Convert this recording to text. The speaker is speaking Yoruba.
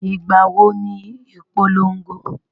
Ìgbà wo ni ìpolongo?